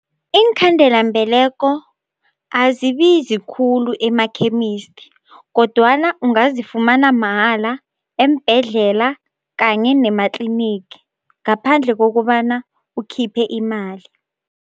Iinkhandelambeleko azibizi khulu emakhemisti kodwana ungazifumana mahala eembhedlela kanye nematlinigi ngaphandle kokobana ukhiphe imali.